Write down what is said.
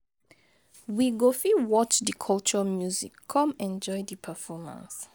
We go fit watch di culture music come enjoy di performance.